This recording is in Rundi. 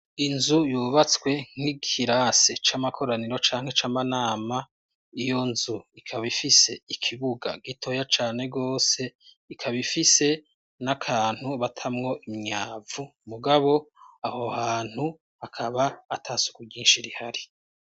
Inzu yubatswe nk'ikirase c'amakoraniro canke c'amanama iyo nzu ikabifise ikibuga gitoya cane rwose ikabifise n'akantu batamwo imyavu mugabo aho hantu hakaba ata suku ryinshi rihari.